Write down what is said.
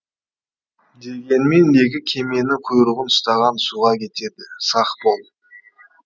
дегенмен екі кеменің құйрығын ұстаған суға кетеді сақ бол